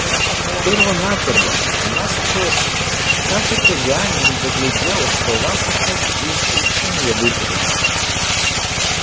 перво-наперво она спросит как это я недоглядел что вас опять из ученья выперли